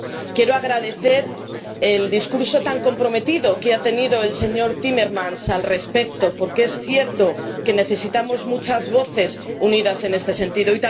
Quiero agradecer el discurso tan comprometido del señor Timmermans al respecto, porque es cierto que necesitamos muchas voces unidas en este sentido.